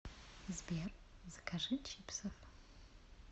сбер закажи чипсов